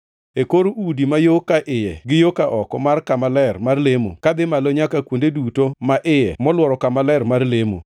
E kor udi ma yo ka iye gi yo ka oko mar kama ler mar lemo kadhi malo nyaka kuonde duto ma iye molworo kama ler mar lemo,